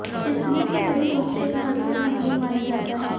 insulin को सही रूप से एक महत्वपूर्ण हार्मोन माना जाता है